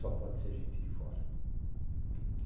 Só pode ser gente de fora.